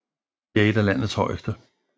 Det er et af landets højeste